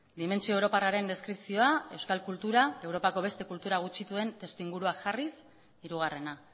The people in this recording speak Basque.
dimentsio europarraren deskripzioa euskal kultura europako beste kultura gutxituen testuinguruan jarriz hirugarrena